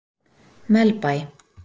Melbæ